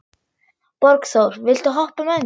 Borgþór, viltu hoppa með mér?